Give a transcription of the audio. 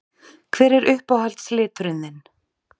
Hver er uppáhalds liturinn þinn?